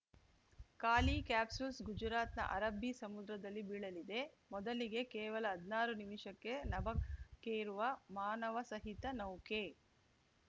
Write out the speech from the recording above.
ಖಾಲಿ ಕ್ಯಾಪ್ಸೂಲ್‌ ಗುಜರಾತ್‌ನ ಅರಬ್ಬಿ ಸಮುದ್ರದಲ್ಲಿ ಬೀಳಲಿದೆ ಮೊದಲಿಗೆ ಕೇವಲ ಹದ್ನಾರು ನಿಮಿಷಕ್ಕೆ ನಭಕ್ಕೇರುವ ಮಾನವಸಹಿತ ನೌಕೆ